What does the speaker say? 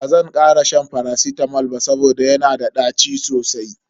Bazan kara shan faracitamol ba saboda yana da ɗaci sosai.